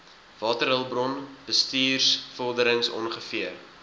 waterhulpbron bestuursvorderings ongeveer